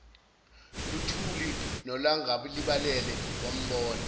luthuli nolangalibalele wambona